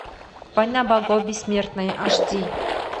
война богов бессмертные аш ди